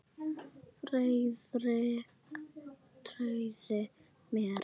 Friðrik trúði mér.